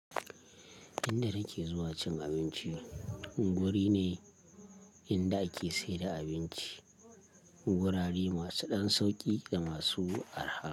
Inda nake zuwa cin abinci, guri ne inda ake saida abinci, gurare masu ɗan sauƙi da masu arha.